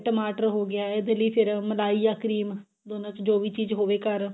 ਟਮਾਟਰ ਹੋ ਗਿਆ ਇਹਦੇ ਲਈ ਫ਼ੇਰ ਮਲਾਈ ਜਾਂ cream ਦੋਨਾਂ ਚੋਂ ਜੋ ਵੀ ਚੀਜ਼ ਹੋਵੇ ਘਰ